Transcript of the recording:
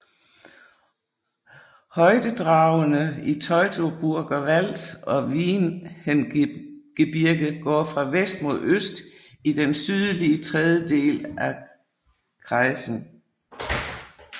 Højdedragenene Teutoburger Wald og Wiehengebirge går fra vest mod øst i den sydlige tredjedel af kreisen